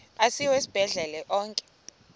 asiwa esibhedlele onke